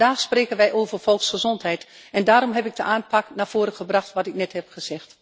Maar vandaag spreken wij over volksgezondheid en daarom heb ik de aanpak naar voren gebracht die ik net heb gezegd.